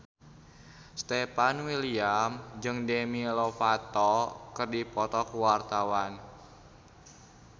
Stefan William jeung Demi Lovato keur dipoto ku wartawan